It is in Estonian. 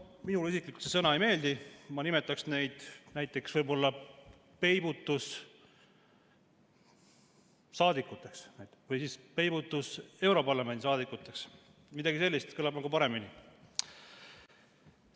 Minule isiklikult see sõna ei meeldi, ma nimetaks neid näiteks peibutussaadikuteks või europarlamendi peibutussaadikuteks, midagi sellist kõlab nagu paremini.